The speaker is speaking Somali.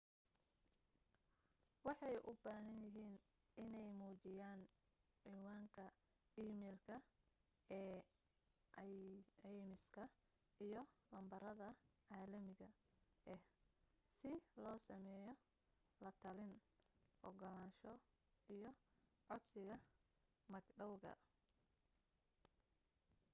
waxay u baahan yihiin inay muujiyaan cinwaanka emailka ee caymiska iyo lambarada caalamiga ah si loo sameeyo la talin/ogolaansho iyo codsiga mag dhawga